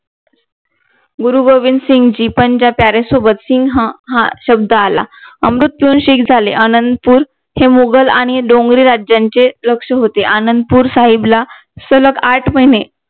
गुरु गोबिंदसिंघ जी पण त्या प्यारे सोबत सिंघ हा शब्द आला अमृत पिऊन शीख झाले अनंतपूर हे मुघल आणि डोंगरी राज्यांचे लक्ष होते आनंदपूर साहिबला सलग आठ महिने